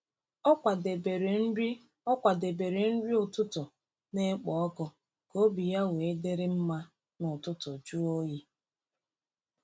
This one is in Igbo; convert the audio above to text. Ọ kwadebere nri Ọ kwadebere nri ụtụtụ na-ekpo ọkụ ka obi ya wee dịrị mma n’ụtụtụ jụụ oyi.